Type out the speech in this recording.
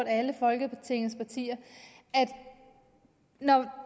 alle folketingets partier at når